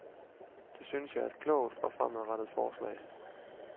Det synes jeg er et klogt og fremadrettet forslag.